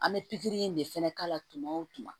An bɛ pikiri in de fɛnɛ k'a la tuma o tuma